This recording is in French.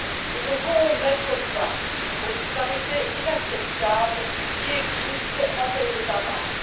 Nous devons mettre fin aux disparités inacceptables qui existent entre les États membres.